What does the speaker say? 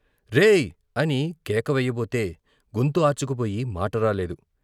రేయ్ అని కేక వెయ్యబోతే గొంతు ఆర్చుకుపోయి మాట రాలేదు.